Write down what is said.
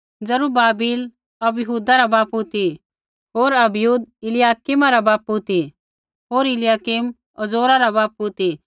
जरूब्बाबिल अबीहूदा रा बापू ती हो अबीहूद इलयाकीमा रा बापू ती होर इलयाकीम अज़ोरा रा बापू ती